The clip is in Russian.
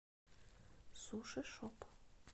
суши шоп